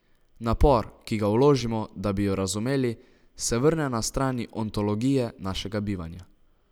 Napor, ki ga vložimo, da bi jo razumeli, se vrne na strani ontologije našega bivanja.